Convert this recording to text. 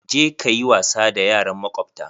Je ka yi wasa da yaran makwabta!